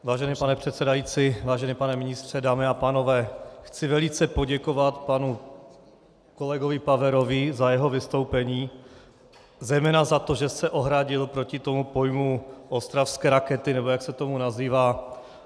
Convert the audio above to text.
Vážený pane předsedající, vážený pane ministře, dámy a pánové, chci velice poděkovat panu kolegovi Paverovi za jeho vystoupení, zejména za to, že se ohradil proti tomu pojmu ostravské rakety, nebo jak se to nazývá.